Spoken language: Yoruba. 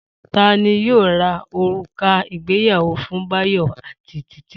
Ta ni yóò ra òrùka ìgbéyàwó fún Báyọ̀ àti Títí?